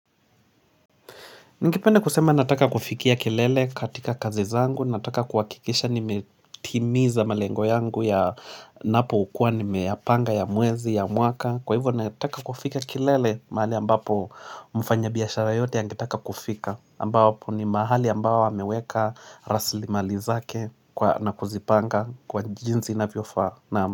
Ningipende kusema nataka kufikia kilele katika kazi zangu, nataka kuwakikisha nimetimiza malengo yangu ya napo ukua ni meyapanga ya mwezi ya mwaka. Kwa hivyo nataka kufika kilele mahali ambapo mfanya biashara yote ya ngetaka kufika. Ambapo ni mahali ambapo hameweka rasli mali zake na kuzipanga kwa jinzi na viofa.